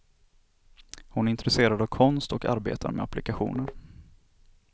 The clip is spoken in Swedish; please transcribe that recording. Hon är intresserad av konst och arbetar med applikationer.